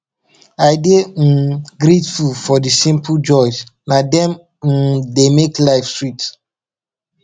i dey um grateful for the simple joys na dem um dey make life sweet